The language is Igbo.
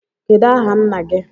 Kedụ aha nna gị?